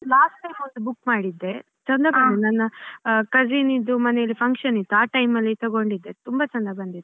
Last time ಒಂದ್ book ಮಾಡಿದ್ದೆ ಚಂದ ಬಂದಿತ್ತು ನನ್ನ cousin ದ್ದು ಮನೆಲ್ಲಿ function ಇತ್ತು ಆ time ಅಲ್ಲಿ ತಕೊಂಡಿದ್ದೆ ತುಂಬಾ ಚಂದ ಬಂದಿತ್ತು.